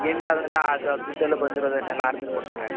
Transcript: ಈಗ end ಅದಾಗ ಆ ದುಡ್ಡೆಲ್ಲ ಬಂದಿರೋದುನ್ನೆಲ್ಲ ಗೆ ಕೊಡ್ತಾರೆ .